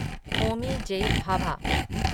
Homi J. Bhabha